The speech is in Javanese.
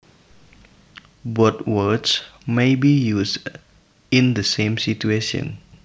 Both words may be used in the same situation